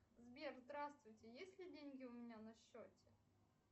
сбер здравствуйте есть ли деньги у меня на счете